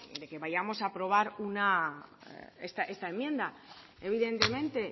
de que vayamos a aprobar esta enmienda evidentemente